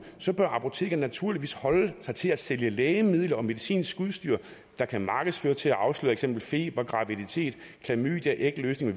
bør apotekerne naturligvis holde sig til at sælge lægemidler og medicinsk udstyr der kan markedsføres til at afsløre for eksempel feber graviditet klamydia ægløsning